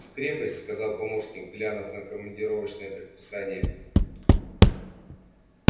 в крепость сказал помощник глянув на командировочное предписание